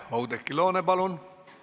Oudekki Loone, palun!